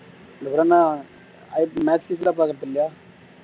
வேற என்ன ipl match லா பாக்குறது இல்லையா